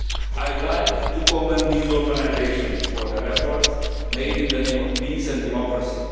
I would like to commend these organisations for their efforts made in the name of peace and democracy.